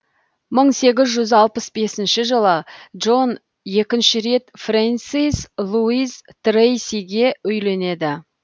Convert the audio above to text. мың сегіз жүз алпыс бесінші жылы джон екінші рет фрэнсис луиз трейсиге үйленеді